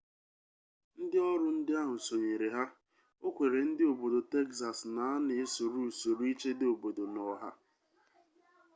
ndị ọrụ ndị ahụ sonyere ya o kwere ndị obodo texas na a na-esoro usoro ichedo obodo na ọha